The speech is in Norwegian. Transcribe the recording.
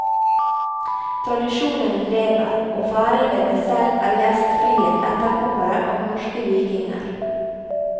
Tradisjonene lever, og færingene selv er gjestfrie etterkommere av norske vikinger.